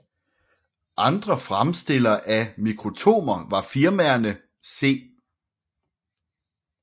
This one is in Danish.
Andre fremstillere af mikrotomer var firmaerne C